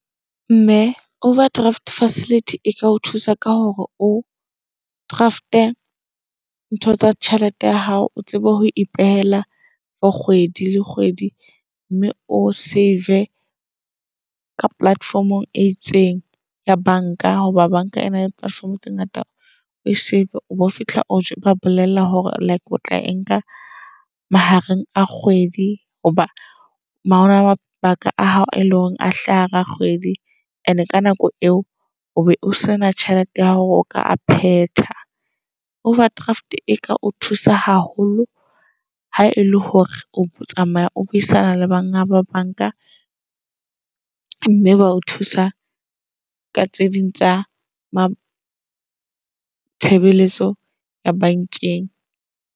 Mme overdraft facility e ka o thusa ka hore o draft-e ntho tsa tjhelete ya hao. O tsebe ho ipeela for kgwedi le kgwedi mme o save-e ka platform-ong e itseng ya banka. Hoba bank-a ena le platform tse ngata o save o bo fihla o ba bolella hore like o tla e nka mahareng a kgwedi. Hoba hona le mabaka a hao e leng hore a hlaha hara kgwedi. And-e ka nako eo o be o sena tjhelete ya hore o ka a phetha. Overdraft e ka o thusa haholo ha e le hore o tsamaya o buisana le bana ba bank-a. Mme ba o thusa ka tse ding tsa tshebeletso ya bank-eng.